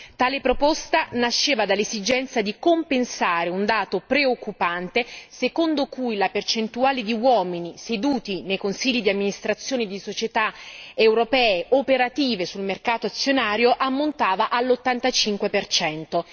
Tale proposta nasceva dall'esigenza di compensare un dato preoccupante, secondo cui la percentuale di uomini nei consigli di amministrazione di società europee operative sul mercato azionario ammontava all'85 percento.